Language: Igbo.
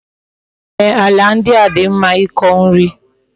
Ee, ala ndi a di mma iko nri